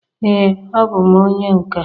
ee a bụ m onye nka